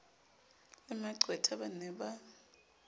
le maqwetha ba ne ba